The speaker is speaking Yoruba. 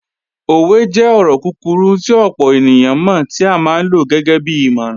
Òwe jẹ́ ọ̀rọ̀ kúkurú tí ọ̀pọ̀ ènìyàn mọ̀ tí a máa ń lo gẹ́gẹ́bí ìmọ̀ràn